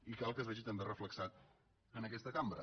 i cal que es vegi també reflectit en aquesta cambra